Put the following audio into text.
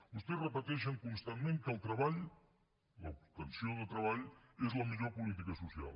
vostès repeteixen constantment que el treball l’obtenció de treball és la millor política social